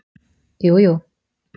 jújú